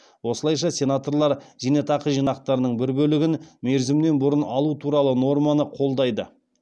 осылайша сенаторлар зейнетақы жинақтарының бір бөлігін мерзімінен бұрын алу туралы норманы қолдайды